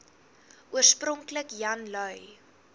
oorspronklik jan lui